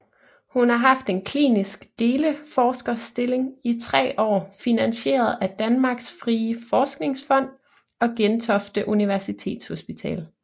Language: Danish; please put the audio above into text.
Hun har haft en klinisk deleforskerstilling i 3 år finansieret af Danmarks Frie Forskningsfond og Gentofte Universitetshospital